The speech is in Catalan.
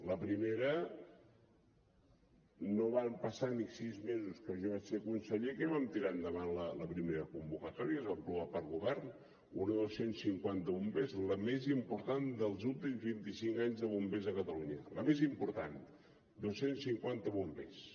la primera no van passar ni sis mesos que jo vaig ser conseller que vam tirar endavant la primera convocatòria es va aprovar pel govern una de dos cents i cinquanta bombers la més important dels últims vint i cinc anys de bombers a catalunya la més important dos cents i cinquanta bombers